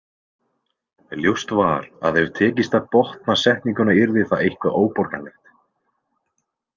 Ljóst var að ef tækist að botna setninguna yrði það eitthvað óborganlegt.